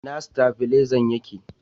ina stabilezan yake?